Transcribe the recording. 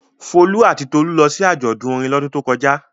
Folú àti Tolú lọ sí àjọ̀dún orin lọ́dún tó kọjá.